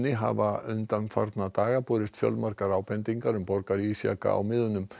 hafa undanfarna daga borist fjölmargar ábendingar um borgarísjaka á miðunum